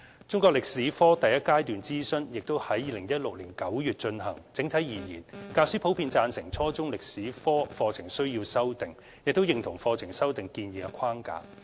中國歷史科第一階段諮詢亦已於2016年9月進行，整體而言，教師普遍贊成初中中國歷史科課程需要修訂，並認同課程修訂建議的框架。